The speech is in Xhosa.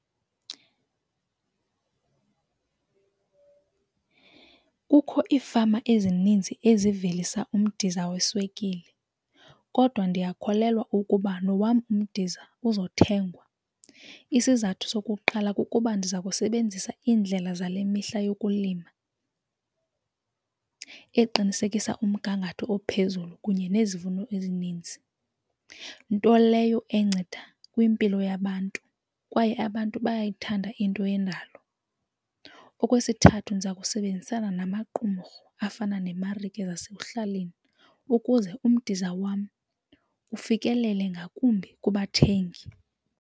Kukho iifama ezininzi ezivelisa umdiza weswekile kodwa ndiyakholelwa ukuba nowam umdiza uzothengwa. Isizathu sokuqala kukuba ndiza kusebenzisa indlela zale mihla yokulima eqinisekisa umgangatho ophezulu kunye nezivuno ezininzi, nto leyo enceda kwimpilo yabantu kwaye abantu bayayithanda into yendalo. Okwesithathu, ndiza kusebenzisana namaqumrhu afana neemarike zasekuhlaleni ukuze umdiza wam ufikelele ngakumbi kubathengi.